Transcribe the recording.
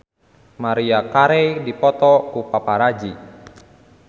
Maria Carey dipoto ku paparazi